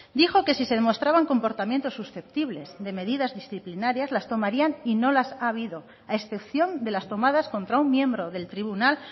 dijo que si se demostraban comportamientos susceptibles de medidas disciplinarias las tomarían y no las ha habido a excepción de las tomadas contra un miembro del tribunal